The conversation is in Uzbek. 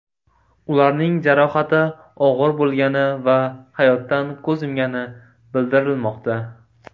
Ularning jarohati og‘ir bo‘lgani va hayotdan ko‘z yumgani bildirilmoqda.